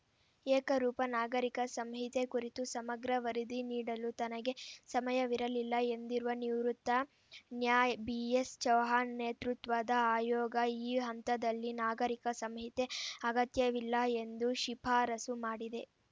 ಏಕರೂಪ ನಾಗರಿಕ ಸಂಹಿತೆ ಕುರಿತು ಸಮಗ್ರ ವರದಿ ನೀಡಲು ತನಗೆ ಸಮಯವಿರಲಿಲ್ಲ ಎಂದಿರುವ ನಿವೃತ್ತ ನ್ಯಾ ಬಿಎಸ್‌ ಚೌಹಾಣ್‌ ನೇತೃತ್ವದ ಆಯೋಗ ಈ ಹಂತದಲ್ಲಿ ನಾಗರಿಕ ಸಂಹಿತೆ ಅಗತ್ಯವಿಲ್ಲ ಎಂದು ಶಿಫಾರಸು ಮಾಡಿದೆ